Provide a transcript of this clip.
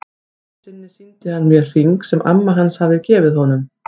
Einu sinni sýndi hann mér hring sem amma hans hafði gefið honum.